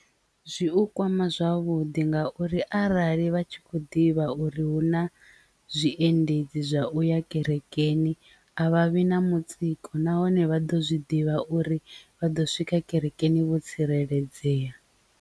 Zwi u kwama zwavhuḓi ngauri arali vha tshi kho ḓivha uri hu na zwiendedzi zwa uya kerekeni a vha vhi na mutsiko nahone vha ḓo zwi ḓivha uri vha ḓo swika kerekeni vho tsireledzea.